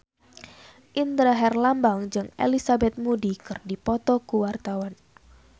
Indra Herlambang jeung Elizabeth Moody keur dipoto ku wartawan